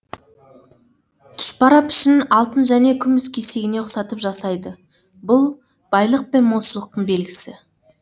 тұшпара пішінін алтын және күміс кесегіне ұқсатып жасайды бұл байлық пен молшылықтың белгісі